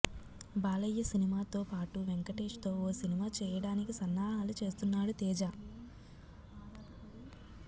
బాలయ్య సినిమాతో పాటు వెంకటేష్ తో ఓ సినిమా చేయడానికి సన్నాహాలు చేస్తున్నాడు తేజ